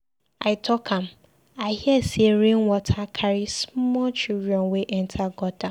I talk am. I hear say rain water carry small children wey enter gutter.